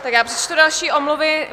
Tak já přečtu další omluvy.